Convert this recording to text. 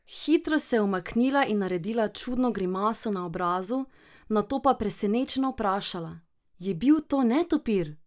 Hitro se je umaknila in naredila čudno grimaso na obrazu, nato pa presenečeno vprašala: "Je bil to netopir?